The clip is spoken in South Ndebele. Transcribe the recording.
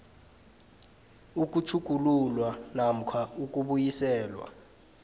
ukutjhugululwa namkha ukubuyiselwa